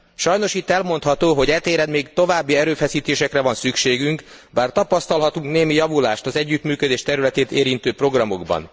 Sajnos itt elmondható, hogy e téren még további erőfeszítésekre van szükségünk, bár tapasztalhatunk némi javulást az együttműködés területét érintő programokban.